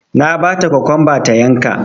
Na bata kokwamba ta yanka